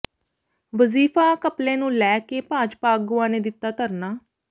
ਵਜ਼ੀਫ਼ਾ ਘਪਲੇ ਨੂੰ ਲੈ ਕੇ ਭਾਜਪਾ ਆਗੂਆ ਨੇ ਦਿੱਤਾ ਧਰਨਾ